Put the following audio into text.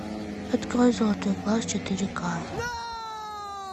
открой золотой глаз четыре ка